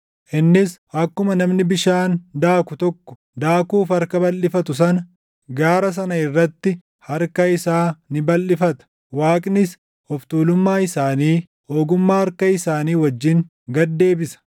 Innis akkuma namni bishaan daaku tokko daakuuf harka balʼifatu sana, gaara sana irratti harka isaa ni balʼifata. Waaqnis of tuulummaa isaanii, ogummaa harka isaanii wajjin gad deebisa.